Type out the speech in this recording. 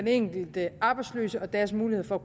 enkelte arbejdsløse og deres muligheder